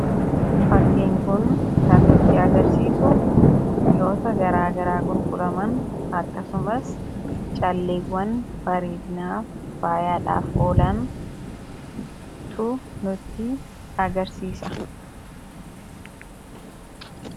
fakkiin kun kan nutti agarsiisu mi'oota garaagaraa gurguraman akkasumaas calleewwan bareednaa faayyaadhaaf oolaan tu nutti agarsiisa